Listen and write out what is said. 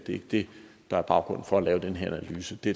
ikke det der er baggrunden for at lave den her analyse det